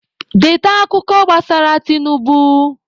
Deeta akụkọ gbasara Tinubu!